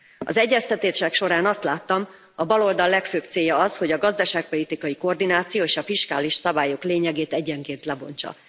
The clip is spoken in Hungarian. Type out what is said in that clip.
Az egyeztetések során azt láttam, a baloldal legfőbb célja az, hogy a gazdaságpolitikai koordináció és a fiskális szabályok lényegét egyenként lebontsa